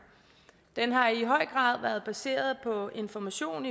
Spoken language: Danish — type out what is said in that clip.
den har i høj grad været baseret på information